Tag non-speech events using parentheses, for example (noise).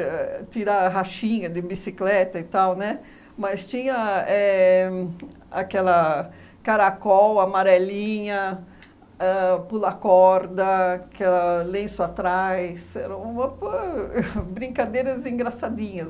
(laughs) tirar rachinha de bicicleta e tal, mas tinha éh aquela caracol, amarelinha, ãh pula-corda, que lenço atrás, era uma po brincadeiras engraçadinhas.